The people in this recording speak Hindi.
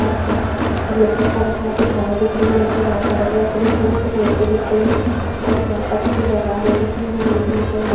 आसमान ब्लू कलर का दिख रहा है कुछ घास दिख रही है निचे घास हरे कलर की दिख रही है कुछ मिट्टी दिख रही है और यह पे कुछ दरवाजे दिख रहे है बिल्डिंग के अंदर--